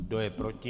Kdo je proti?